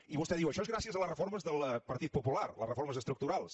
i vostè diu això és gràcies a les reformes del partit popular les reformes estructurals